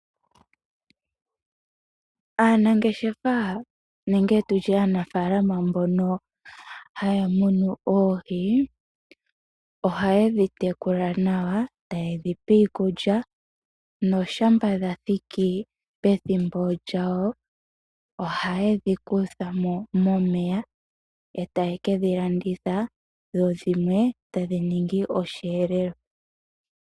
Aanangeshefa nenge tutye aanafalama mbono haya munu oohi ohaye dhi tekula nawa etaye dhi pe iikulya noshampa dha thiki pethimbo lyawo ohaye dhi kutha mo momeya etaye kedhi landitha dho dhimwe taye dhi ningi osheelelwa.